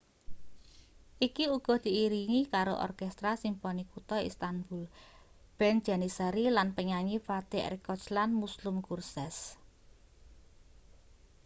iki uga diiringi karo orkestra simponi kutha istanbul band janissary lan penyanyi fatih erkoç lan müslüm gürses